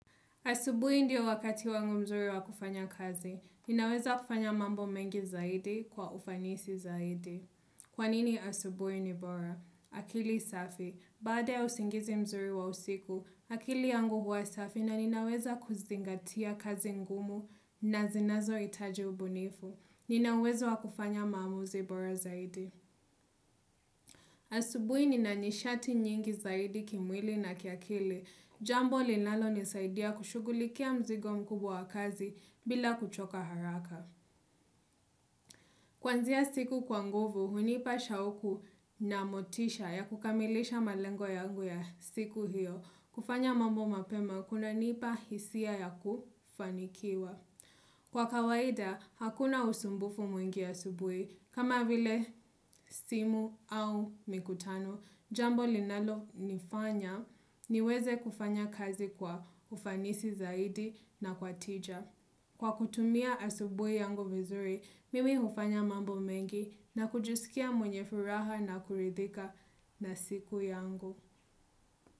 Asubuhi ndio wakati wangu mzuri wa kufanya kazi. Ninaweza kufanya mambo mengi zaidi kwa ufanisi zaidi. Kwanini asubui ni bora? Akili safi. Bada ya usingizi mzuri wa usiku, akili yangu huwa safi na ninaweza kuzingatia kazi ngumu na zinazo itaji ubunifu. Nina uwezo kufanya mamuzi bora zaidi. Asubui nina nishati nyingi zaidi kimwili na kiakili. Jambo linalo nisaidia kushugulikia mzigo mkubwa wa kazi bila kuchoka haraka. Kwanzia siku kwa nguvu, hunipa shaoku na motisha ya kukamilisha malengo yangu ya siku hiyo. Kufanya mambo mapema, kuna nipa hisia ya kufanikiwa. Kwa kawaida, hakuna usumbufu mwingi asubuhi. Kama vile simu au mikutano, jambo linalo nifanya niweze kufanya kazi kwa ufanisi zaidi na kwa tija. Kwa kutumia asubuhi yangu vizuri, mimi hufanya mambo mengi na kujisikia mwenye furaha na kuridhika na siku yangu.